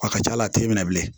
A ka c'a la a t'e minɛ bilen